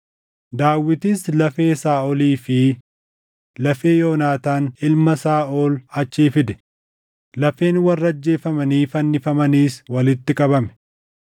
Daawitis lafee Saaʼolii fi lafee Yoonaataan ilma Saaʼol achii fide; lafeen warra ajjeefamanii fannifamaniis walitti qabame.